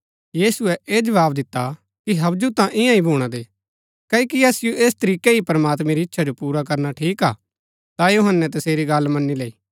यीशुऐ ऐह जवाव दिता कि हबजुं ता ईयां ही भूणा दे क्ओकि असिओ ऐस तरीकै ही प्रमात्मैं री इच्छा जो पुरा करना ठीक हा ता यूहन्‍नै तसेरी गल्ल मनी लैई